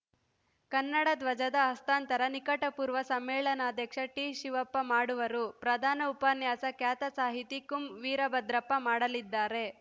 ಕನ್ನಡ ಧ್ವಜದ ಹಸ್ತಾಂತರ ನಿಕಟಪೂರ್ವ ಸಮ್ಮೇಳನಾಧ್ಯಕ್ಷ ಟಿ ಶಿವಪ್ಪ ಮಾಡುವರು ಪ್ರಧಾನ ಉಪನ್ಯಾಸ ಖ್ಯಾತ ಸಾಹಿತಿ ಕುಂ ವೀರಭದ್ರಪ್ಪ ಮಾಡಲಿದ್ದಾರೆ